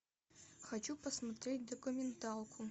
хочу посмотреть документалку